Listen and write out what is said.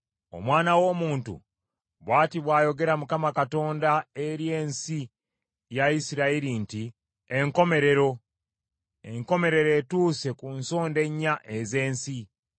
“Omwana w’omuntu, bw’ati bw’ayogera Mukama Katonda eri ensi ya Isirayiri nti: “ ‘Enkomerero! Enkomerero etuuse ku nsonda ennya ez’ensi.